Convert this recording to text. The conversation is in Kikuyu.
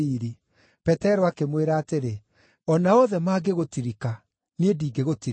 Petero akĩmwĩra atĩrĩ, “O na othe mangĩgũtirika, niĩ ndingĩgũtirika.”